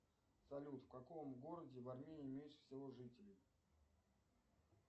салют в каком городе в армении меньше всего жителей